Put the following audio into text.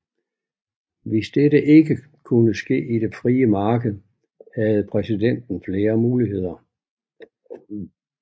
Hvis dette ikke kunne ske i det frie marked havde præsidenten flere muligheder